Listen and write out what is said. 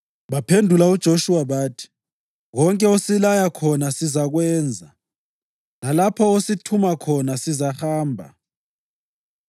Baphendula uJoshuwa bathi, “Konke osilaya khona sizakwenza, lalapho osithuma khona sizahamba.